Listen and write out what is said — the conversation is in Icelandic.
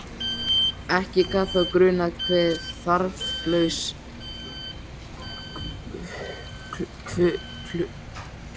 Ekki gat þá grunað hve þarflaus hluttekningin var!